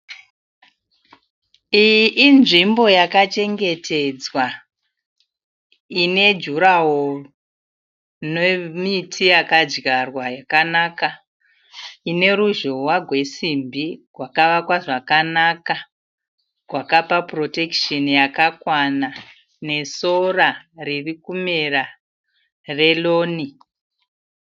Iyi inzvimbo yakachengetedzwa ine durawall. Nemiti yakadyarwa yakanaka , ineruzhowa gwesimbi gwakavakwa zvakanaka gwakapa protection yakakwana nesora riri kumera relawn.